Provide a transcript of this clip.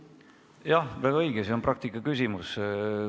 Jah, väga õige, see on praktika küsimus.